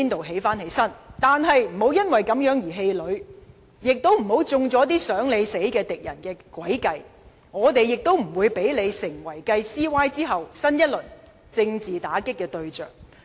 但是，你不要因此而氣餒，也不要中了那些"想你死"的敵人的詭計，我們也不會讓你成為繼 CY 之後新一輪政治打擊的對象。